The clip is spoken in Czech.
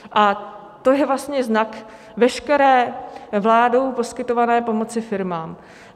A to je vlastně znak veškeré vládou poskytované pomoci firmám.